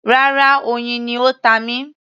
Rárá, oyin ni ó ta mí